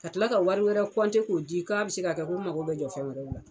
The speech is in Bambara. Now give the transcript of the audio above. Ka tila ka wari wɛrɛ k'o di k'a bɛ se ka kɛ ko n mago bɛ jɔ fɛn wɛrɛ la.